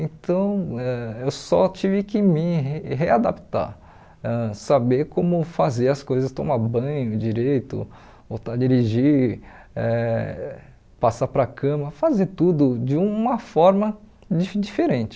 Então ãh eu só tive que me re readaptar, ãh saber como fazer as coisas, tomar banho direito, voltar a dirigir, eh passar para a cama, fazer tudo de uma forma di diferente.